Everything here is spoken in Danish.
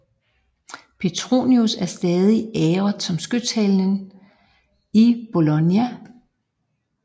Petronius er stadig æret som skytshelgen i Bologna